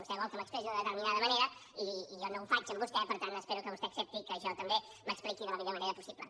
vostè vol que m’expressi d’una determinada manera i jo no ho faig amb vostè per tant espero que vostè accepti que jo també m’expliqui de la millor manera possible